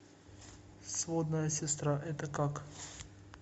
сводная сестра это как